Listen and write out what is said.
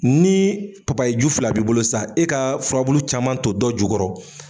Ni papayi ju fila b'i bolo sisan, e ka fura caman ton dɔ jukɔrɔ